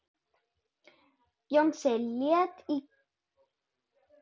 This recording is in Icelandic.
Jónsi leit í kringum sig.